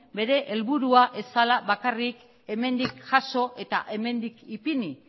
bere helburua ez zela bakarrik hemendik jaso eta hemendik ipini